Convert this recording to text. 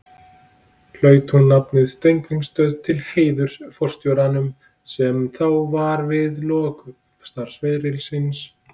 Hlaut hún nafnið Steingrímsstöð til heiðurs forstjóranum, sem þá var við lok starfsferils síns.